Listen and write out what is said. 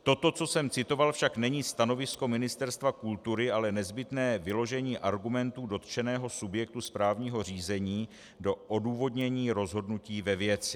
Toto, co jsem citoval, však není stanovisko Ministerstva kultury, ale nezbytné vyložení argumentů dotčeného subjektu správního řízení do odůvodnění rozhodnutí ve věci.